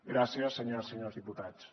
gràcies senyores i senyors diputats